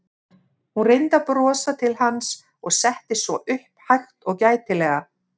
Hún reyndi að brosa til hans og settist svo upp hægt og gætilega.